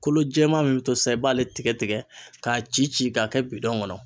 Kolo jɛman min bɛ to sisan i b'ale tigɛ tigɛ k'a ci ci k'a kɛ bidɔn kɔnɔ.